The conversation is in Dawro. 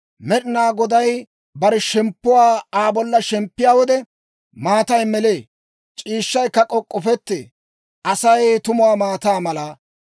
Med'inaa Goday bare shemppuwaa Aa bollan shemppiyaa wode, maatay melee; c'iishshaykka k'ok'k'ofettee. Asay tumu maataa mala.